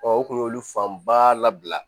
u kun y'olu fanba labila